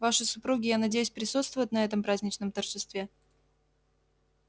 ваши супруги я надеюсь присутствуют на этом праздничном торжестве